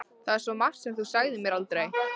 Það er svo margt sem þú sagðir mér aldrei.